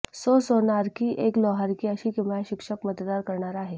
सौ सोनारी की एक लोहार की अशी किमया शिक्षक मतदार करणार आहे